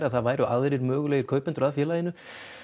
að það væru aðrir möguleigir kaupendur að félaginu